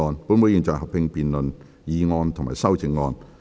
本會現在合併辯論議案及修正案。